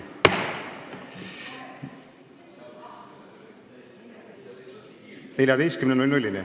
14-ni.